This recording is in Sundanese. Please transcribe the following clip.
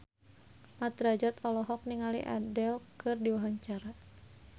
Mat Drajat olohok ningali Adele keur diwawancara